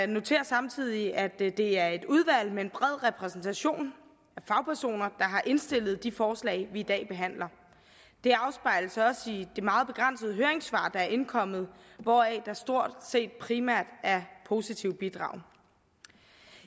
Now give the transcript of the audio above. noterer samtidig at det det er et udvalg med en bred repræsentation af fagpersoner har indstillet de forslag vi i dag behandler det afspejles også i de meget begrænsede høringssvar der er indkommet hvoraf der stort set primært er positive bidrag